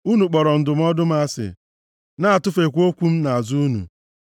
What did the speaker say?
Unu kpọrọ ndụmọdụ m asị, na-atụfekwa okwu m nʼazụ unu.